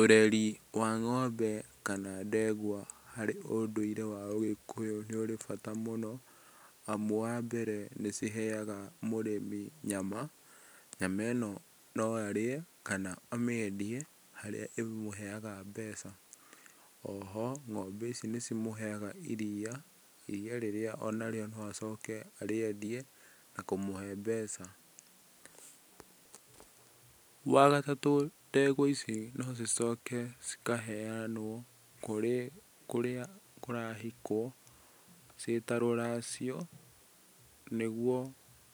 Ũreri wa ng'ombe kana ndegwa harĩ ũndũire wa ũgĩkũyũ nĩ ũrĩ bata mũno, amũ wa mbere nĩciheaga mũrĩmĩ nyama, nyama ĩno no arĩe kana amĩendie harĩa ĩmũheaga mbeca, oho ng'ombe ici nĩcĩmũheaga iria, iria rĩrĩa onarĩo no acoke arĩendie na kũmũhe mbeca, wagatatũ ndegwa ici no cicoke cikaheanwo kũrĩ kũrĩa kũrahikwo, cĩĩ ta rũracio, nĩgũo,